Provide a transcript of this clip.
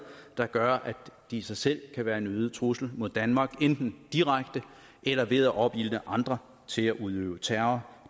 der gør at de i sig selv kan være en øget trussel mod danmark enten direkte eller ved at opildne andre til at udøve terror